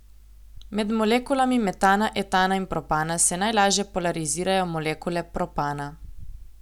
Med molekulami metana, etana in propana se najlažje polarizirajo molekule propana.